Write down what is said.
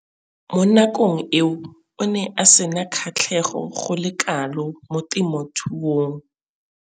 Mo nakong eo o ne a sena kgatlhego go le kalo mo temothuong.